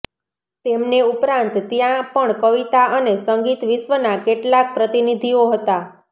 તેમને ઉપરાંત ત્યાં પણ કવિતા અને સંગીત વિશ્વના કેટલાક પ્રતિનિધિઓ હતા